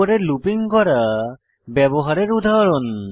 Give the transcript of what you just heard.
উপরের লুপিং গড়া ব্যবহারের উদাহরণ